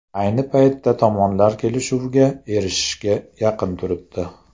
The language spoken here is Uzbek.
Ayni paytda tomonlar kelishuvga erishishga yaqin turibdi.